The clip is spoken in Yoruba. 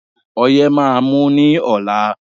Ọyé máà ń mú ní ọ̀la.